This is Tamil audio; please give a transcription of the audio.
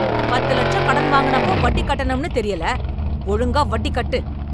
பத்து லட்சம் கடன் வாங்குனப்போ , வட்டி கட்டணும்ன்னு தெரியல ! ஒழுங்கா வட்டி கட்டு.